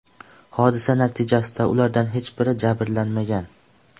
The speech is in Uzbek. Hodisa natijasida ulardan hech biri jabrlanmagan.